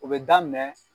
O bɛ daminɛ